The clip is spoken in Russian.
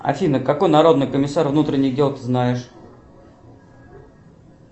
афина какой народный комиссар внутренних дел ты знаешь